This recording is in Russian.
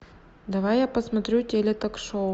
давай я посмотрю теле ток шоу